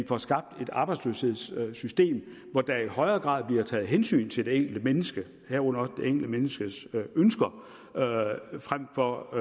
får skabt et arbejdsløshedssystem hvor der i højere grad bliver taget hensyn til det enkelte menneske herunder det enkelte menneskes ønsker frem for